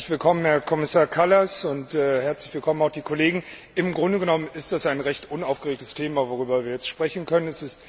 Herzlich willkommen, Herr Kommissar Kallas, und herzlich willkommen auch die Kollegen! Im Grunde genommen ist es ein recht unaufgeregtes Thema, worüber wir jetzt sprechen können.